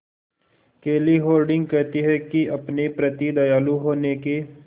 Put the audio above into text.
केली हॉर्डिंग कहती हैं कि अपने प्रति दयालु होने के